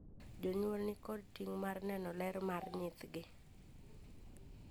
Jonyuol ni kod ting' mar neno ler mar nyithgi.